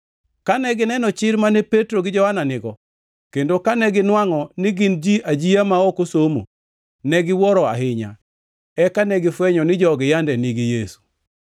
Kane gineno chir mane Petro gi Johana nigo, kendo kane ginwangʼo ni gin ji ajia ma ok osomo, ne giwuoro ahinya, eka negifwenyo ni jogi yande nigi Yesu.